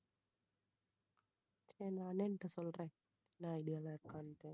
என் அண்ணன்கிட்ட சொல்றேன் என்ன idea ல இருக்கான்ட்டு